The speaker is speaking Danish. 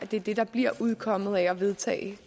det er det der bliver udkommet af at vedtage